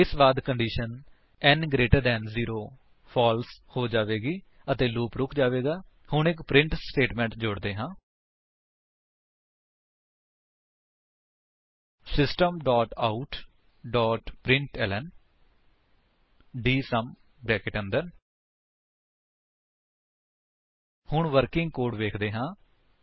ਇਸਦੇ ਬਾਅਦ condition n greater than 0 false ਹੋ ਜਾਵੇਗੀ ਅਤੇ ਲੂਪ ਰੁਕ ਜਾਵੇਗਾ ਹੁਣ ਇੱਕ ਪ੍ਰਿੰਟ ਸਟੇਟਮੇਂਟ ਜੋੜਦੇ ਹਾਂ ਸਿਸਟਮ ਆਉਟ ਪ੍ਰਿੰਟਲਨ ਹੁਣ ਵਰਕਿੰਗ ਕੋਡ ਵੇਖਦੇ ਹਾਂ